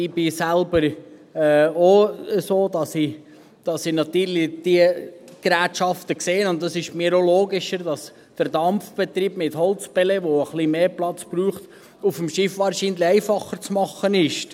Ich bin selber auch so, dass ich natürlich diese Gerätschaften sehe, und es erscheint mir auch logisch, dass der Dampfbetrieb mit Holzpellets, der ein bisschen mehr Platz braucht, auf dem Schiff wahrscheinlich einfacher zu machen ist.